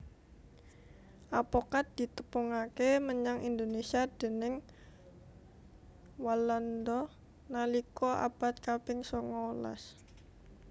Apokat ditepungaké menyang Indonésia déning Walanda nalika abad kaping songolas